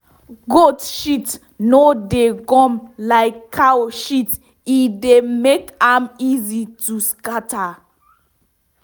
goat shit no dey gum like cow shit e dey make am easy to scatter.